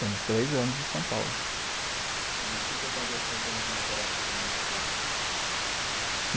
Temos três anos de São Paulo. E o que aconteceu em termo de literatura nesses três anos.